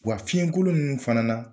Wa fiɲɛkolon nunnu fana na